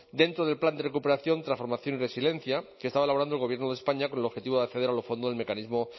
dentro del plan de recuperación transformación y resiliencia que estaba elaborando el gobierno de españa con el objetivo de acceder a los fondos del mecanismo